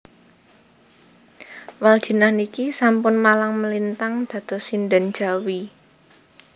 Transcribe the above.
Waldjinah niki sampun malang melintang dados sinden Jawi